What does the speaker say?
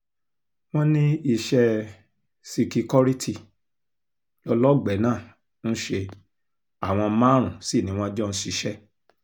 wọ́n ní iṣẹ́ síkíkọrítì lọ́lọ́ọ̀gbẹ́ náà ń ṣe àwọn márùn-ún sí ni wọ́n jọ ń ṣiṣẹ́